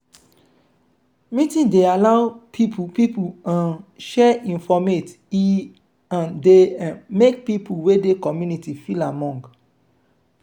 meeting dey allow pipo pipo um share informate e um dey um make pipo wey dey community feel among